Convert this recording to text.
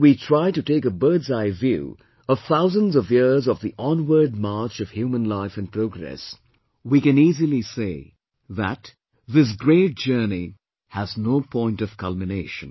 If we try to take a bird's eye view of thousands of years of the onward march of human life and progress, we can easily say that this great journey has no point of culmination